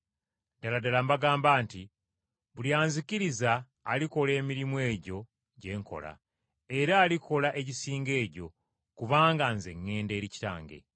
“Ddala ddala mbagamba nti buli anzikiriza alikola emirimu egyo gye nkola, era alikola egisinga egyo, kubanga Nze ŋŋenda eri Kitange.